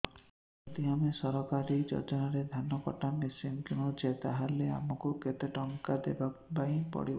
ଯଦି ଆମେ ସରକାରୀ ଯୋଜନାରେ ଧାନ କଟା ମେସିନ୍ କିଣୁଛେ ତାହାଲେ ଆମକୁ କେତେ ଟଙ୍କା ଦବାପାଇଁ ପଡିବ